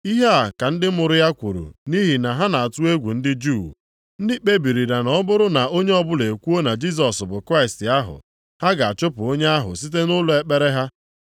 Ihe a ka ndị mụrụ ya kwuru nʼihi na ha na-atụ egwu ndị Juu. Ndị kpebirila na ọ bụrụ na onye ọbụla ekwuo na Jisọs bụ Kraịst ahụ, ha ga-achụpụ onye ahụ site nʼụlọ ekpere ha.